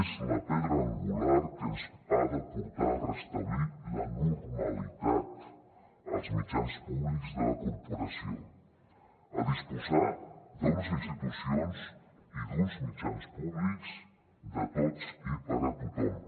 és la pedra angular que ens ha de portar a restablir la normalitat als mitjans públics de la corporació a disposar d’unes institucions i d’uns mitjans públics de tots i per a tothom